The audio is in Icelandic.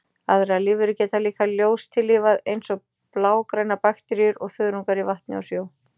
Aðrar lífverur geta líka ljóstillífað, eins og blágrænar bakteríur og þörungar í vatni og sjó.